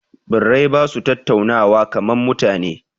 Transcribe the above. Birai ba su tattaunawa kaman mutane